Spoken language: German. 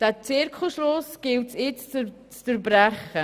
Diesen Zirkelschluss gilt es jetzt zu durchbrechen.